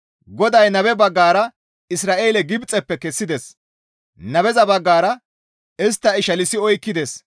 GODAY nabe baggara Isra7eele Gibxeppe kessides, nabeza baggara istta ishalsi oykkides.